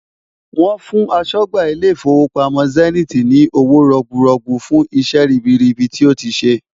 Wọ́n fún aṣọ́gbà ilé ìfowópamọ́ zenith ni owó rọ̀gbùrọ́gbú fún iṣẹ́ ribiribi tí ó ti ṣe.